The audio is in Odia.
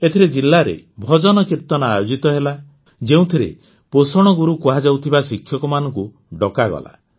ଏଥିରେ ଜିଲାରେ ଭଜନକୀର୍ତ୍ତନ ଆୟୋଜିତ ହେଲା ଯେଉଁଥିରେ ପୋଷଣ ଗୁରୁ କୁହାଯାଉଥିବା ଶିକ୍ଷକମାନଙ୍କୁ ଡକାଗଲା